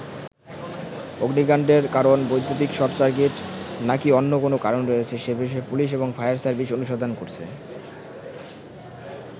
অগ্নিকান্ডের কারণ বৈদ্যুতিক short circuit বা নাকী অন্য কোনও কারণ রয়েছে সে বিষয়ে পুলিশ এবং ফায়ার সার্ভিস অনুসন্ধান করছে।